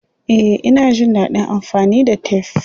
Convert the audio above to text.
Eh, ina jin dadin amfani da tef.